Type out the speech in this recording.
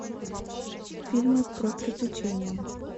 фильмы про приключения